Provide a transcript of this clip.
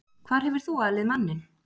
Hvar hefur þú alið manninn?